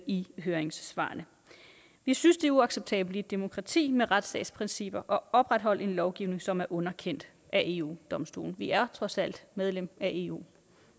i høringssvarene vi synes det er uacceptabelt i et demokrati med retsstatsprincipper at opretholde en lovgivning som er underkendt af eu domstolen vi er trods alt medlem af eu